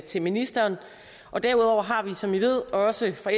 til ministeren og derudover har vi som i ved også fra